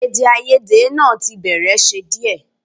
Èdèàìyedè náà tí bẹ̀rẹ̀ ṣe díẹ̀